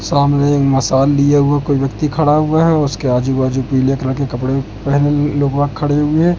सामने मसाला लीया हुआ कोई व्यक्ति खड़ा हुआ है उसके आजू बाजू पीले कलर के कपड़े पहने ये लोग वहां खड़े हुए है।